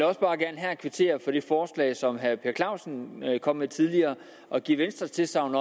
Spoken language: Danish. også bare gerne her kvittere for det forslag som herre per clausen kom med tidligere og give venstres tilsagn